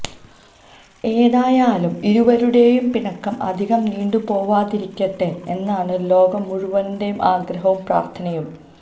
ഏതായാലും ഇരുവരുടെയും പിണക്കം അധികം നീണ്ടുപോവാതിരിക്കട്ടെ എന്നാണ് ലോകം മുഴുവന്റെയും ആഗ്രഹവും പ്രാര്ത്ഥനയും